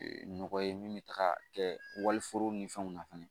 nɔgɔ ye min bɛ taga kɛ waliforo ni fɛnw na fɛnɛ